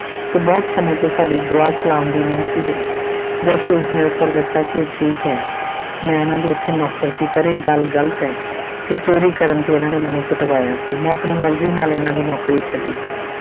ਤੇ ਬਹੁਤ ਸਮੇਂ ਤੋਂ ਸਾਡੇ ਦੁਆ ਸਲਾਮ ਵੀ ਨਹੀਂ ਸੀ ਹੋਈ ਜਾਸੂਸ ਨੇ ਉੱਤਰ ਦਿੱਤਾ ਕਿ ਇਹ ਠੀਕ ਹੈ ਮੈਂ ਇਹਨਾਂ ਦੇ ਇੱਥੇ ਨੌਕਰ ਸੀ ਪਰ ਇਹ ਗੱਲ ਗ਼ਲਤ ਹੈ ਕਿ ਚੌਰੀ ਕਰਨ ਤੇ ਇਹਨਾਂ ਨੇ ਮੈਨੂੰ ਪਿਟਵਾਇਆ ਸੀ ਮੈਂ ਆਪਣੀ ਮਰਜ਼ੀ ਨਾਲ ਇਹਨਾਂ ਦੀ ਨੌਕਰੀ ਛੱਡੀ ਸੀ।